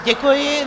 Děkuji.